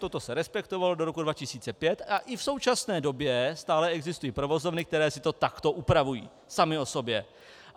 Toto se respektovalo do roku 2005 a i v současné době stále existují provozovny, které si to takto upravují samy o sobě.